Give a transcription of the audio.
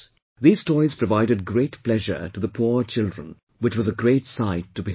These toys provided great pleasure to the poor children, which was a great sight to behold